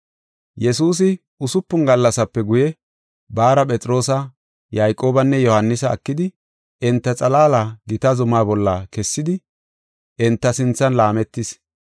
Yesuusi usupun gallasape guye, baara Phexroosa, Yayqoobanne Yohaanisa ekidi, enta xalaala gita zuma bolla kessidi enta sinthan laametis.